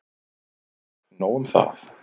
En nóg un það.